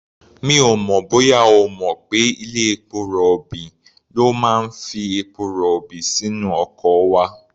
Mi ò mọ̀ bóyá ó mọ̀ pé ilé-epo rọ̀bì ló máa ń fi epo-rọ̀bì sínú ọkọ̀ wa.